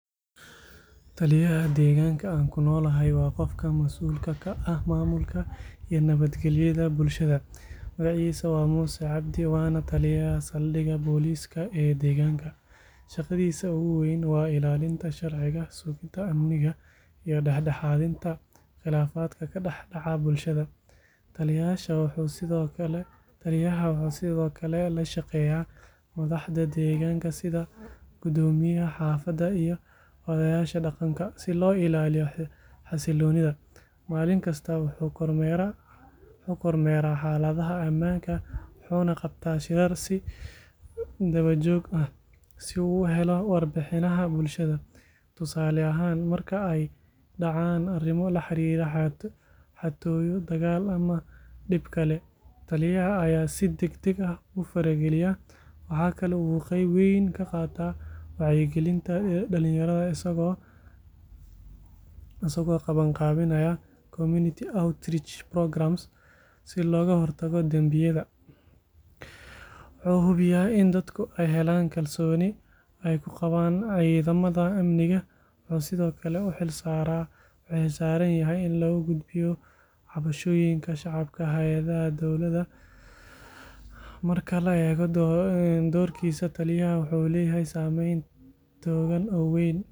Taliyaha deegaanka aan kunoolahay waa qofka masuulka ka ah maamulka iyoo nabad galyada bulshada. Magaciisa waa Muse Abdi waana taliyaha saldiga booliska ee deegaanka. Shaqadiisa ugu weyn waa ilaalinta sharciga, suginta amniga iyo kala daxdaxaadka qilaafka kadax daca bulshada. Taliyaaha wuxuu sidi oo kale lashaqeeyaa madaxda degaanka sida gudoomiyaha xaafada si loo ilaaliya xasiloonida. Maalin kasta wuxuu kormeraa xaladaha amaanka wuxuuna qabtaa si harsi dawajooh aah si uu uhelo war bixinaha bulshada. Tusaale ahaan marka aay dacaan arimo laxariiro xatooyo, digaal ama dib kale taliyaha ayaa si dagdag ah ufara giliyaa, waxaa kale uu qeyb weyn kaqaataa wacyi gilinta dalan yarada isagoo qaban qaabinaayaa community outreach programs si looga hortago danbiyada. Waxaa kala hubiyaa iin dadka aay helaan kalsooni aay kuqabaan cidamaha amniga. wuxuu sidi oo kale uxil saaranyahay in lagu gudbiyo cabashooyinka shacabka hayadaha, dowlada. Markale dorkiisa taliyaha wuxuu leeyahay saameyn toogan oo weyn